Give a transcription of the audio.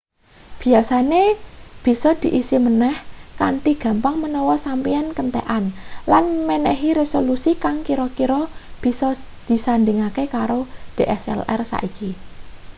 biasane bisa diisi maneh kanthi gampang menawa sampeyan kentekan lan menehi resolusi kang kira-kira bisa disandhingne karo dslr saiki